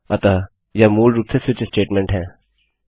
अतः वह मूल रूप से स्विच स्टेटमेंट है